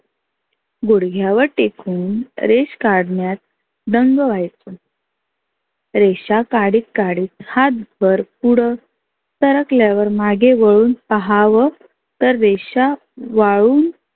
गुढग्यावर तेखून रेष काढण्यात दंग व्हायचं. रेषा काढीत काढीत हात भर पुढंं सरकल्यावर मागे वळून पहावं तर रेषा वाळून